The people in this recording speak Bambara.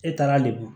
E taara lemuru